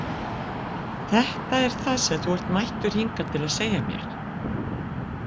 Þetta er það sem þú ert mættur hingað til að segja mér?